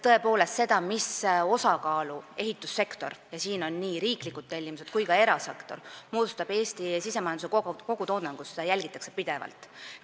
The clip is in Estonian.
Tõepoolest, seda, kui suure osa Eesti sisemajanduse kogutoodangust moodustab ehitussektor – arvestatakse nii riiklikke tellimusi kui ka erasektort –, jälgitakse pidevalt.